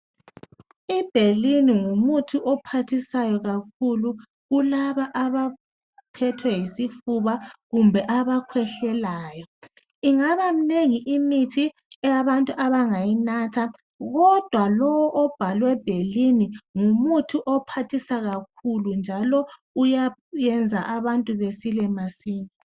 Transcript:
I Benylin ngumuthi ophathisayo kakhulu kulabo abaphethwe yisifuba kumbe abakhehlelayo. Ingaba minengi imithi eyabantu abangayinatha kodwa lo obhalwe Benylin ngumuthi ophasisa kakhulu njalo uyayenza abantu besile masinya